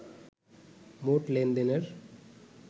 মোট লেনদেনের